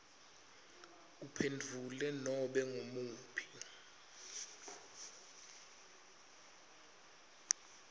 uphendvule nobe ngumuphi